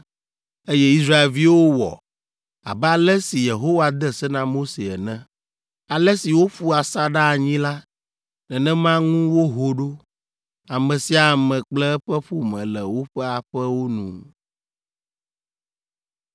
Eye Israelviwo wɔ, abe ale si Yehowa de se na Mose ene. Ale si woƒu asaɖa anyi la, nenema ŋu woho ɖo, ame sia ame kple eƒe ƒome le woƒe aƒewo nu.